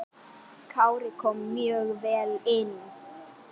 Kári kom mjög vel inn.